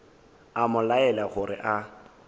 a mo laela gore a